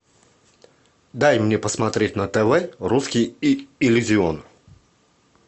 дай мне посмотреть на тв русский иллюзион